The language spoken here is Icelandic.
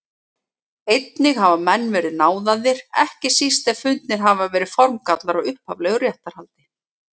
Einnig hafa menn verið náðaðir, ekki síst ef fundnir hafa verið formgallar á upphaflegu réttarhaldi.